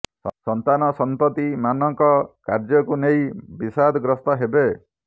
ସନ୍ତାନ ସନ୍ତତି ମାନଙ୍କ କାର୍ୟ୍ୟକୁ ନେଇ ବିଶାଦ ଗ୍ରସ୍ତ ହେବେ